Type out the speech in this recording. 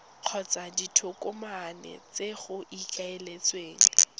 kgotsa ditokomane tse go ikaeletsweng